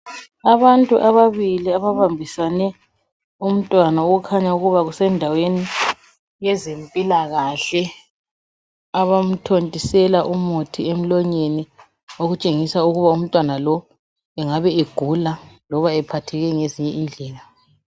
Abantu ababili, ababambisane umntwana okukhanya ukubana kusendaweni yezempilakahle, abamthontisela umuthi emlonyeni okutshengisa ukuba umntwana lo engabe egula loba ephatheke ngezinye indlela.